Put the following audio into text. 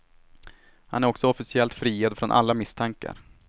Han är också officiellt friad från alla misstankar.